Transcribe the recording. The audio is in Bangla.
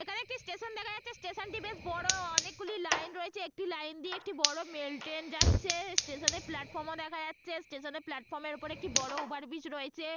এখানে একটি স্টেশন দেখা যাচ্ছে স্টেশন -টি বেশ বড় অনেকগুলি লাইন রয়েছে একটি লাইন দিয়ে একটি বড় মেল ট্রেন যাচ্ছে স্টেশন এ প্লাটফর্ম ও দেখা যাচ্ছে স্টেশন এ প্লাটফর্ম -এর ওপরে একটি বড় ওভার ব্রিজ রয়েছে।